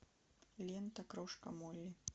лента крошка молли